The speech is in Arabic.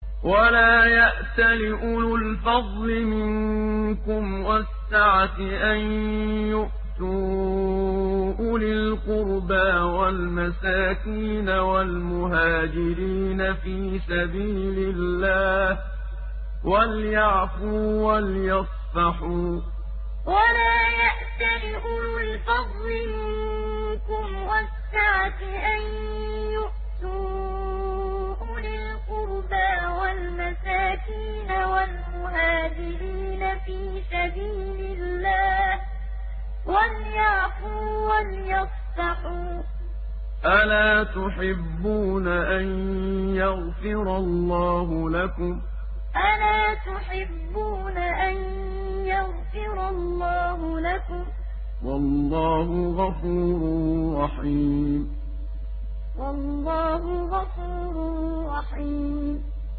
وَلَا يَأْتَلِ أُولُو الْفَضْلِ مِنكُمْ وَالسَّعَةِ أَن يُؤْتُوا أُولِي الْقُرْبَىٰ وَالْمَسَاكِينَ وَالْمُهَاجِرِينَ فِي سَبِيلِ اللَّهِ ۖ وَلْيَعْفُوا وَلْيَصْفَحُوا ۗ أَلَا تُحِبُّونَ أَن يَغْفِرَ اللَّهُ لَكُمْ ۗ وَاللَّهُ غَفُورٌ رَّحِيمٌ وَلَا يَأْتَلِ أُولُو الْفَضْلِ مِنكُمْ وَالسَّعَةِ أَن يُؤْتُوا أُولِي الْقُرْبَىٰ وَالْمَسَاكِينَ وَالْمُهَاجِرِينَ فِي سَبِيلِ اللَّهِ ۖ وَلْيَعْفُوا وَلْيَصْفَحُوا ۗ أَلَا تُحِبُّونَ أَن يَغْفِرَ اللَّهُ لَكُمْ ۗ وَاللَّهُ غَفُورٌ رَّحِيمٌ